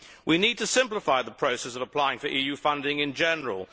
We need to simplify the process of applying for EU funding in general.